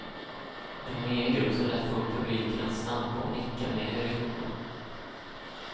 En homogen grupp, som lätt får publiken att stampa och nicka med i rytmerna.